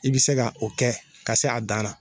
I be se ka o kɛ ka se a dan na